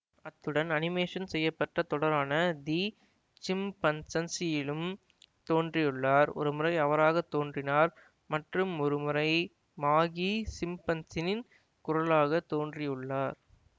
அத்துடன் அனிமேஷன் செய்ய பட்ட தொடரான தி சிம்பன்சன்சியிலும் தோன்றியுள்ளார் ஒருமுறை அவராகவே தோன்றினார் மற்றும் ஒருமுறை மாகி சிம்பன்சனில் குரலாகத் தோன்றியுள்ளார்